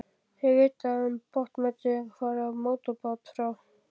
Þegar vitjað var um botnnetin var farið á mótorbát frá